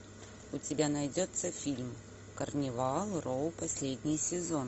у тебя найдется фильм карнивал роу последний сезон